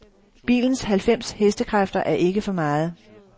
Bilens halvfems hestekræfter er ikke for meget.